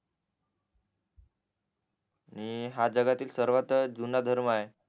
आणि हा जगातील सर्वात जुना धर्म आहे